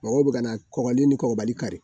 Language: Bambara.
Mɔgɔw bɛ ka kɔgɔlen ni kɔgɔbali kari